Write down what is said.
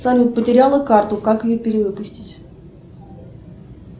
салют потеряла карту как ее перевыпустить